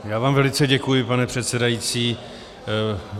Já vám velice děkuji, pane předsedající.